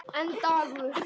Einn dagur!